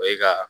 O ye ka